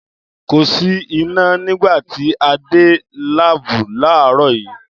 Kò sì iná nígbà tí a dé láàbù láàárọ̀ yìí